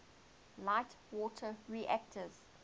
light water reactors